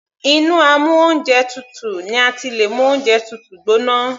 Inú amú oúnjẹ tutù ni a ti lè mú oúnjẹ tútù gbóná.